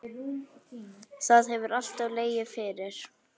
Það hefur alltaf legið fyrir.